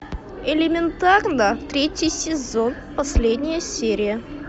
элементарно третий сезон последняя серия